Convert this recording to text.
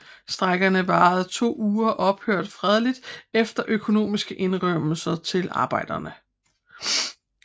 Strejkerne varede to uger og ophørte fredeligt efter økonomiske indrømmelser til arbejderne